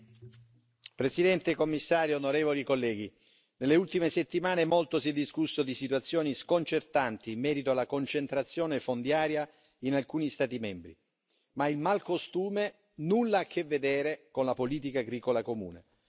Signor Presidente, signor Commissario, onorevoli colleghi, nelle ultime settimane molto si è discusso di situazioni sconcertanti in merito alla concentrazione fondiaria in alcuni Stati membri, ma il malcostume nulla ha a che vedere con la politica agricola comune.